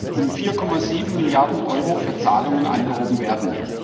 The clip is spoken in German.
3 um 4,7 Milliarden Euro für Zahlungen angehoben werden.